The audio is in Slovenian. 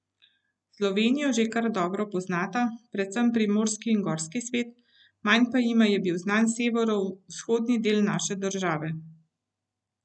Slovenijo že kar dobro poznata, predvsem primorski in gorski svet, manj pa jima je bil znan severovzhodni del naše države.